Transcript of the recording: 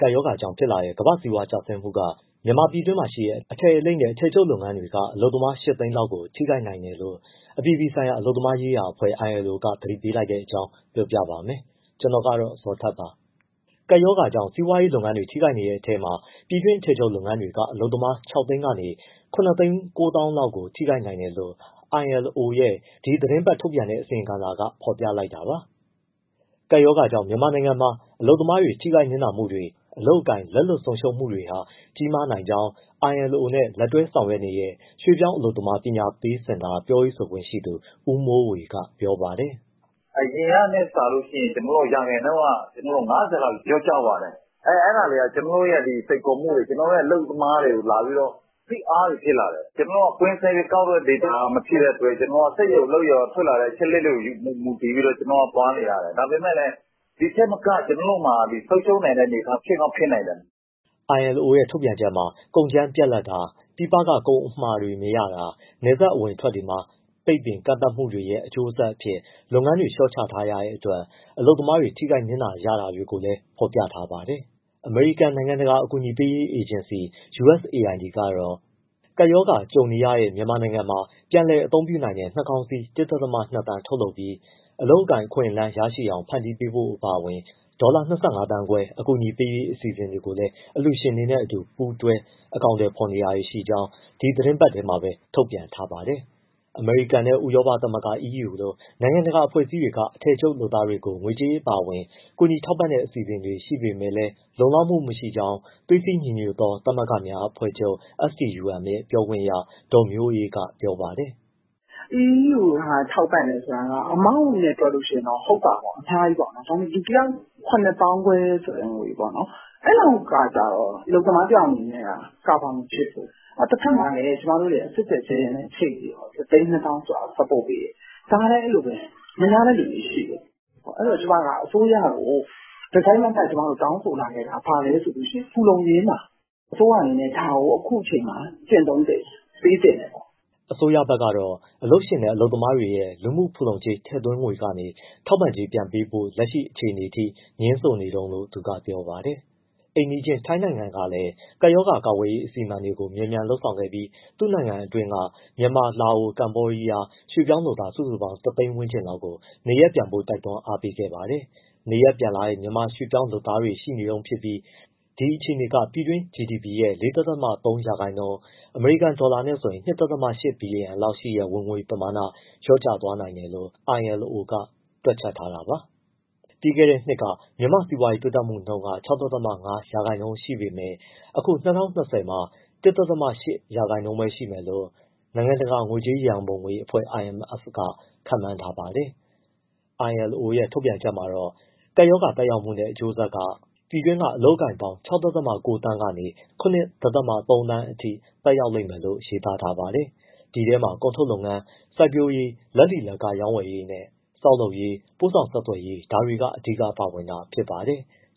ကပ်ရောဂါကြောင့်ဖြစ်လာတဲ့ ကမ္ဘာ့စီးပွားရေးကျဆင်းမှုက မြန်မာပြည်တွင်းမှာရှိတဲ့ အထည်လိပ်နဲ့ အထည်ချုပ်လုပ်ငန်းတွေက အလုပ်သမား ၈ သိန်းလောက်အထိ ထိခိုက်နိုင်တယ်လို့ အပြည်ပြည်ဆိုင်ရာ အလုပ်သမားရေးရာအဖွဲ့ ILO က သတိပေးလိုက်တဲ့အကြောင်း ကိုဇော်ထထက် ပြောပြပါမယ်။ ကပ်ရောဂါကြောင့် စီးပွားရေးလုပ်ငန်းတွေ ထိခိုက်နေတဲ့ အထဲမှာ ပြည်တွင်းအထည်ချုပ် လုပ်ငန်းတွေက အလုပ်သမား ၆ သိန်း ကနေ ၇၉၀၀၀၀ လောက်ကို ထိခိုက်နိုင်တယ် လို့ ILO ရဲ့ ဒီသီတင်းပတ်ထုတ်ပြန်တဲ့ အစီရင်ခံစာက ဖော်ပြလိုက်တာပါ။ ကပ်ရောဂါကြောင့် မြန်မာနိုင်ငံမှာ အလုပ်သမားတွေ ထိခိုက်နစ်နာမှုတွေ၊ အလုပ်အကိုင် လက်လွတ်ဆုံးရှုံးမှုတွေဟာ ကြီးမားနိုင်ကြောင်း ILO နဲ့လက်တွဲဆောင်ရွက်နေတဲ့ ရွှေ့ပြောင်းအလုပ်သမား ပညာပေးစင်တာ ပြောရေးဆိုခွင့်ရှိသူ ဦးမိုးဝေက ပြောပါတယ်။ “အရင်ကထက်စာရင် ကျနော်တို့က ၅၀ ရာခိုင်နှုန်း လောက်လျော့ကျသွားတယ်။ အဲဒါတွေက ကျနော်တို့ရဲ့ စိန်ခေါ်မှုတွေ၊ ကျနော်တို့ရဲ့ အလုပ်သမားတွေကို ဖိအားတွေဖြစ်လာတယ်။ ကျနော်တို့က ကွင်းဆင်းပြီးကောက်တဲ့ data မဖြစ်တဲ့အတွက် ကျနော်တို့က စက်ရုံအလုပ်ရုံက ထွက်လာတဲ့ အချက်အလက်တွေကို မူတည်ပြီး ကျနော်တို့သွားနေရတယ်။ ဒါပေမဲ့လည်း ဒီထက်မက ကျနော်တို့မှာ ဆုံးရှုံးနိုင်တဲ့အနေအထား ဖြစ်ကောင်းဖြစ်နိုင်တယ်။” ILO ထုတ်ပြန်ချက်မှာတော့ ကုန်ကြမ်းပြတ်လပ်တာ၊ ပြည်ပက ကုန်အမှာတွေမရတာ၊ နယ်စပ်အဝင်အထွက်တွေမှာ ပိတ်ပင်ကန့်သတ်မှုတွေရဲ့ အကျိုးဆက်အဖြစ် လုပ်ငန်းတွေ လျှော့ချထားရတဲ့အတွက် အလုပ်သမားတွေ ထိခိုက်နစ်နာနေရတာကိုလည်း ဖော်ပြထားပါတယ်။ အမေရိကန် နိုင်ငံတကာ အကူအညီပေးရေး အေဂျင်စီ USAID ကတော့ ကပ်ရောဂါကြုံနေရတဲ့ မြန်မာနိုင်ငံမှာ ပြန်လည်အသုံးပြုနိုင်တဲ့ နှာခေါင်းစည်း ၁.၂ သန်း ထုတ်လုပ်ပြီး အလုပ်အကိုင် အခွင့်အလန်း ရရှိအောင် ဖန်တီးဖို့ အပါအဝင် ဒေါ်လာ ၂၅သန်းခွဲ အကူအညီပေးရေး အစီအစဉ်ကို အလှူရှင်တွေနဲ့အတူ ပူးတွဲအကောင်အထည် ဖော်နေကြောင်း ဒီသီတင်းပတ်ထဲမှာပဲ သတင်းထုတ်ပြန် ထားပါတယ်။ အမေရိကန်နဲ့ ဥရောပသမဂ္ဂ EU လို နိုင်ငံတကာအဖွဲ့အစည်းတွေက အထည်ချုပ်လုပ်သားတွေကို ငွေကြေးအပါအဝင် ကူညီထောက်ပံ့တဲ့ အစီအစဉ်တွေ ရှိနေပေမဲ့လည်း လုံလောက်မှုမရှိကြောင်း သွေးစည်းညီညွတ်သောသမဂ္ဂများအဖွဲ့ချုပ် STUM ရဲ့ ပြောခွင့်ရ ဒေါ်မျိုးအေးက ပြောပါတယ်။ “ EU က ထောက်ပံ့တယ်ဆိုတာက amount နဲ့တွက်လို့ရှိရင်တော့ ဟုတ်တာပေါ့ အများကြီးပေါ့။ ဒါပေမယ့် လူတယောက် ( ကျပ်)၇၅၀၀၀ ဆိုတဲ့ ငွေပေါ့နော်၊ အဲလောက်ကကျတော့ အလုပ်သမားတယောက်အနေနဲ့က cover မဖြစ်ဘူး။ တဘက်မှာလည်း ကျမတို့ကSave the Children နဲ့ချိတ်ပြီးတော့ ၁၂၀၀၀၀ ဆိုတာကို support ( ထောက်ပံ့) ပေးတယ်။ ဒါလည်း အဲဒီလိုပဲ မရတဲ့သူတွေရှိတယ်။ အဲဒီတော့ ကျမက အစိုးရကို တစိုက်တမတ်တောင်းဆိုလာခဲ့တာ လူမှုဖူလုံရေးမှာ အစိုးရအနေနဲ့ ဒါကို အခုအချိန်မှာ ကျင့်သုံးသင့်တယ်၊ ပေးသင့်တယ်ပေါ့။” အစိုးရဘက်ကတော့ အလုပ်ရှင်နဲ့ အလုပ်သမားရဲ့ လူမှုဖူလုံကြေးထည့်သွင်းငွေကနေ ထောက်ပံ့ကြေး ပြန်ပေးဖို့ လက်ရှိအခြေအနေထိ ငြင်းဆိုနေတုန်းလို့ သူကပြောပါတယ်။ အိမ်နီးချင်းထိုင်းနိုင်ငံကလည်း ကပ်ရောဂါကာကွယ်ရေး အစီအမံတွေ မြန်မြန်လုပ်ဆောင်ခဲ့ပြီး သူ့နိုင်ငံတွင်းက မြန်မာ၊ လာအို၊ ကမ္ဘောဒီးယား ရွေ့ပြောင်းလုပ်သား စုစုပေါင်း ၁ သိန်း ဝန်းကျင်လောက်ကို နေရပ်ပြန်ဖို့ တွန်းအားပေးခဲ့ပါတယ်။ နေရပ်ပြန်လာတဲ့ မြန်မာရွှေ့ပြောင်း လုပ်သားတွေရှိနေတုန်းဖြစ်ပြီး ဒီအခြေအနေက ပြည်တွင်း GDP ရဲ့၄.၃ ရာခိုင်နှုန်း ( အမေရိကန်ဒေါ်လာ ၂.၈ ဘီလီယံ) လောက်ရှိတဲ့ ဝင်ငွေပမာဏ လျော့ကျ သွားနိုင်တယ်လို့ ILO ကတွက်ချက်ထားတာပါ။ ပြီးခဲ့တဲ့နှစ်က မြန်မာ့စီးပွားရေးတိုးတက်နှုန်း ၆.၅ ရာခိုင်နှုန်းရှိပေမဲ့ အခု ၂၀၂၀ မှာ ၁.၈ ရာခိုင်နှုန်းပဲရှိမယ်လို့ နိုင်ငံတကာ ငွေကြေးရန်ပုံငွေအဖွဲ့ IMF ကခန့်မှန်းထားပါတယ်။ ILO ရဲ့ ထုတ်ပြန်ချက်မှာ ကပ်ရောဂါသက်ရောက်မှုနဲ့ အကျိုးဆက်က ပြည်တွင်း အလုပ်အကိုင်ပေါင်း ၆.၉ သန်းကနေ ၇.၃ သန်းအထိ သက်ရောက်လိမ့်မယ်လို့ ရေးသားထားပါတယ်။ ဒီထဲမှာ ကုန်ထုတ်လုပ်ငန်း၊ စိုက်ပျိုးရေး၊ လက်လီလက်ကားရောင်းဝယ်ရေးနဲ့ ဆောက်လုပ်ရေး၊ ပို့ဆောင်ဆက်သွယ်ရေး ဒါတွေက အဓိကပါဝင်တာဖြစ်ပါတယ်။